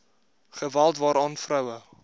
geweld waaraan vroue